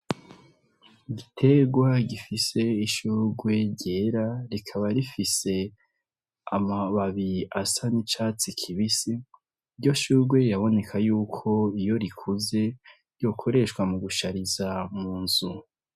Igiterwa gifise ishurwe ryera rikaba rifise amababi asa n’icatsi kibisi , iryo shurwe biraboneka yuko iyo rikuze rikoreshwa mu gushariza mu nzu.